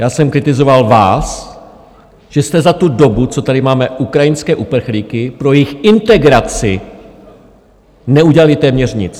Já jsem kritizoval vás, že jste za tu dobu, co tady máme ukrajinské uprchlíky, pro jejich integraci neudělali téměř nic.